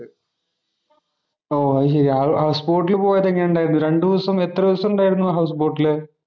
ഓ, അതുശരി. ഹൗസ് ബോട്ടില് പോയിട്ട് എങ്ങനെ ഉണ്ടായിരുന്നു. രണ്ടു ദിവസം എത്ര ദിവസം ഉണ്ടായിരുന്നു ഹൗസ് ബോട്ടില്.